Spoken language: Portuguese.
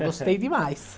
Gostei demais.